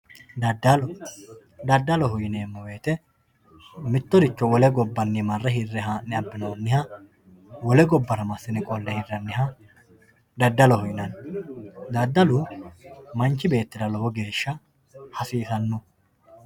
daddalo daddaloho yineemmo wote mittoricho wole gobbanni marre hirre abbinoonniha wole gobbara massine qolle hirranniha daddaloho yinanni daddalu manchi beettira lowo geeshsha hasiisanno.